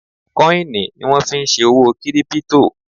Kọ́ìnì ni wọ́n fí n ṣe òwò kírípítò